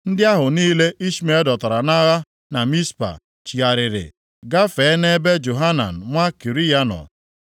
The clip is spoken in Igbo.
Ndị ahụ niile Ishmel dọtara nʼagha na Mizpa, chigharịrị gafee nʼebe Johanan nwa Kariya nọ.